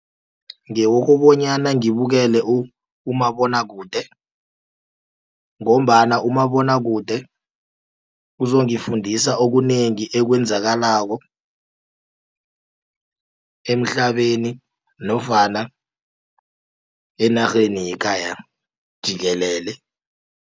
Ngewokobonyana ngibukele umabonwakude, ngombana umabonwakude uzongifundisa okunengi ekwenzakalako emhlabeni nofana enarheni yekhaya jikelele.